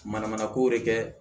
Mana mana ko de kɛ